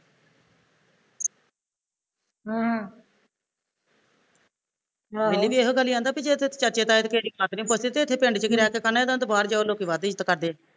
ਹਮ ਬੇਲੀ ਵੀ ਇਹੋ ਗੱਲ ਈ ਕਹਿੰਦਾ ਵੇ ਜੇ ਇੱਥੇ ਚਾਚੇ ਤਾਏ ਤੇਰੀ ਬਾਤ ਨੀ ਪੁੱਛਦੇ ਤੇ ਇੱਥੇ ਪਿੰਡ ਚ ਕੀ ਰਹਿ ਕੇ ਕਰਨਾ ਇਹਦੇ ਤੋਂ ਤਾਂ ਬਾਹਰ ਜੋ ਲੋਕੀਂ ਵੱਧ ਇੱਜ਼ਤ ਕਰਦੇ